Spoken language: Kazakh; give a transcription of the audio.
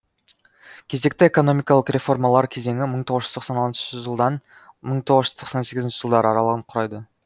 кезекті экономикалық реформалар кезеңі мың тоғыз жүз тоқсан алтыншы жылдан мң тоғыз жүз тоқсан сегізінші жылдар аралығын құрайды